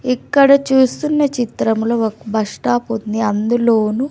ఇక్కడ చూస్తున్న చిత్రములో ఒక బస్ స్టాప్ ఉంది అందులోను--